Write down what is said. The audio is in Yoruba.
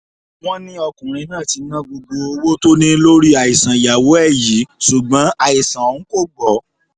wọ́n ní ọkùnrin náà ti ná gbogbo owó tó ní lórí àìsàn ìyàwó ẹ̀ yìí ṣùgbọ́n àìsàn ọ̀hún kò gbọ́